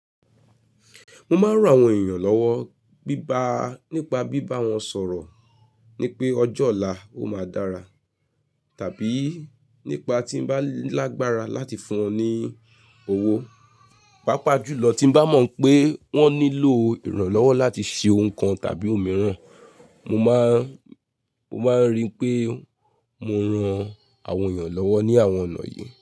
Mo máa ń ran àwọn èèyàn lọ́wọ́ bíba nípa bíbá wọn sọ̀rọ̀, nípé ọjọ́ ọ̀la ó máa dára, tàbí nípa tí m bá lágbára láti fún wọn ní owó. Pápáa jùlọ tí m bá mọ̀ pé wọ́n nílò ìrànlọ́wọ́ láti ṣe ohun kan tàbí òmíràn, mo máa n, mo máa ń rí pé mo ran àwọn èèyàn lọ́wọ́ ní àwọn ọ̀nà yìí.